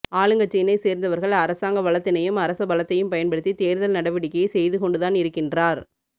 ஆளுங்கட்சியினை சேர்ந்தவர்கள் அரசாங்க வளத்தினையும் அரச பலத்தையும் பயன்படுத்தி தேர்தல் நடவடிக்கையை செய்துகொண்டுதான் இருக்கின்றார்